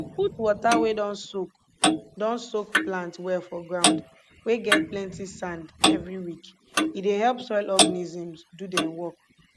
put water wey don soak don soak plant well for ground wey get plenti sand every week e dey help soil organisms do dem work